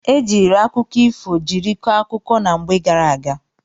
E jiiri akụkọ ifo jiri kọọ akụkọ na mgbe gara aga.